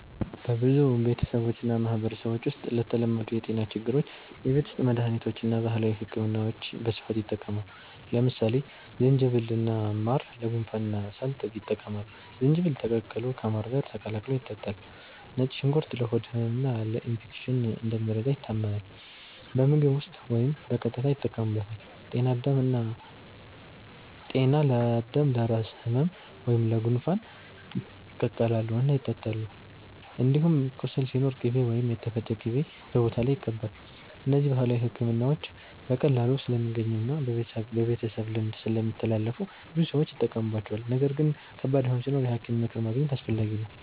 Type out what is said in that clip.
በብዙ ቤተሰቦችና ማህበረሰቦች ውስጥ ለተለመዱ የጤና ችግሮች የቤት ውስጥ መድሃኒቶችና ባህላዊ ሕክምናዎች በስፋት ይጠቀማሉ። ለምሳሌ ዝንጅብልና ማር ለጉንፋንና ሳል ይጠቅማሉ፤ ዝንጅብል ተቀቅሎ ከማር ጋር ተቀላቅሎ ይጠጣል። ነጭ ሽንኩርት ለሆድ ህመምና ለኢንፌክሽን እንደሚረዳ ይታመናል፤ በምግብ ውስጥ ወይም በቀጥታ ይጠቀሙበታል። ጤና አዳም እና ጠና ለራስ ህመም ወይም ለጉንፋን ይቀቀላሉ እና ይጠጣሉ። እንዲሁም ቁስል ሲኖር ቅቤ ወይም የተፈጨ ቅጠል በቦታው ላይ ይቀባል። እነዚህ ባህላዊ ሕክምናዎች በቀላሉ ስለሚገኙና በቤተሰብ ልምድ ስለሚተላለፉ ብዙ ሰዎች ይጠቀሙባቸዋል። ነገር ግን ከባድ ህመም ሲኖር የሐኪም ምክር ማግኘት አስፈላጊ ነው።